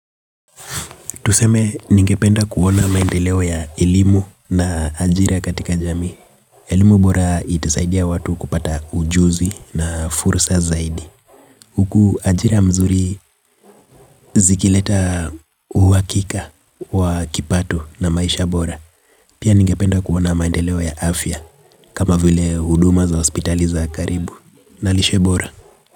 Tuseme ningependa kuona maendeleo ya elimu na ajira katika jamii. Elimu bora itasaidia watu kupata ujuzi na fursa zaidi huku ajira mzuri zikileta uhakika wa kipato na maisha bora. Pia ningependa kuona maendeleo ya afya kama vile huduma za hospitali za karibu. Na lishe bora.